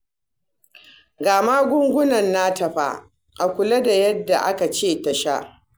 Ga magungunan nata fa, a kula da yadda aka ce a sha